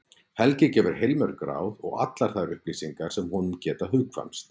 Helgi gefur heilmörg ráð og allar þær upplýsingar sem honum geta hugkvæmst.